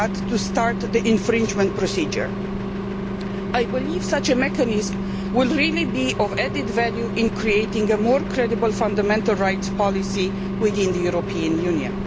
to start the infringement procedure. I believe such a mechanism will bring added value in creating a more credible fundamental rights policy within the European Union.